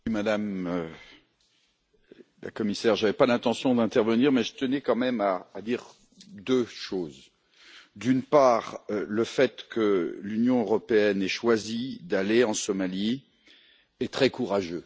Monsieur le Président, Madame la Commissaire, je n'avais pas l'intention d'intervenir, mais je tenais quand même à dire deux choses. D'une part, le fait que l'Union européenne ait choisi d'aller en Somalie est très courageux.